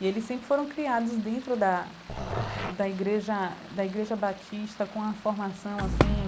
E eles sempre foram criados dentro da da igreja da igreja batista com uma formação assim